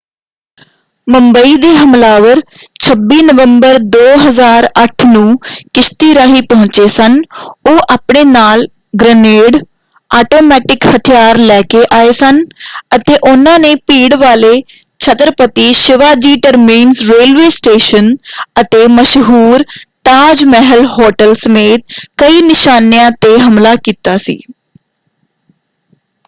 ਮੁੰਬਈ ਦੇ ਹਮਲਾਵਰ 26 ਨਵੰਬਰ 2008 ਨੂੰ ਕਿਸ਼ਤੀ ਰਾਹੀਂ ਪਹੁੰਚੇ ਸਨ ਉਹ ਆਪਣੇ ਨਾਲ ਗ੍ਰਨੇਡ ਆਟੋਮੈਟਿਕ ਹਥਿਆਰ ਲੈ ਕੇ ਆਏ ਸਨ ਅਤੇ ਉਹਨਾਂ ਨੇ ਭੀੜ ਵਾਲੇ Chhatrapati Shivaji terminus railway station ਅਤੇ ਮਸ਼ਹੂਰ ਤਾਜ ਮਹਿਲ ਹੋਟਲ ਸਮੇਤ ਕਈ ਨਿਸ਼ਾਨਿਆਂ 'ਤੇ ਹਮਲਾ ਕੀਤਾ ਸੀ।